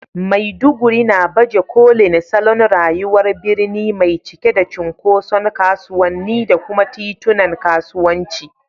Maiduguri na baje kolin salon rayuwar birni mai cike da cunkoson kasuwanni da kuma titunan kasuwanci.